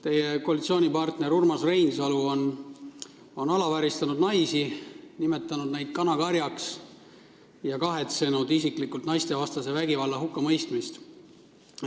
Teie koalitsioonipartner Urmas Reinsalu on alavääristanud naisi, nimetanud neid kanakarjaks, ja isiklikult kahetsenud naistevastase vägivalla hukkamõistmist.